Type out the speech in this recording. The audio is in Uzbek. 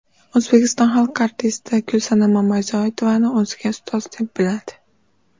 O‘zbekiston xalq artisti Gulsanam Mamazoitovani o‘ziga ustoz deb biladi .